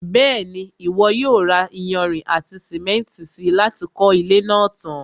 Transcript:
Bẹ́ẹ̀ni, Ìwọ yóò ra iyanrìn àti sìmẹ́ntì si láti kọ́ ilé náà tan.